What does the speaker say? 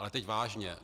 Ale teď vážně.